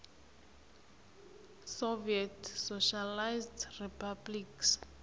soviet socialist republics